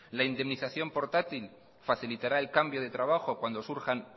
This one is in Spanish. la indemnización portátil facilitará el cambio de trabajo cuando surjan